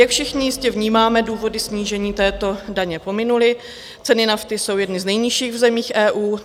Jak všichni jistě vnímáme, důvody snížení této daně pominuly, ceny nafty jsou jedny z nejnižších v zemích EU.